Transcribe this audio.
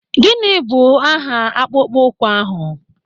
Gịnị bụ aha akpụkpọ ụkwụ ahụ?